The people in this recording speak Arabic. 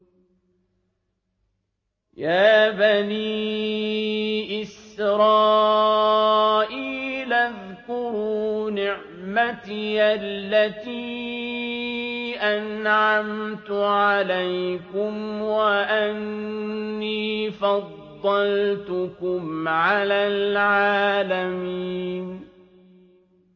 يَا بَنِي إِسْرَائِيلَ اذْكُرُوا نِعْمَتِيَ الَّتِي أَنْعَمْتُ عَلَيْكُمْ وَأَنِّي فَضَّلْتُكُمْ عَلَى الْعَالَمِينَ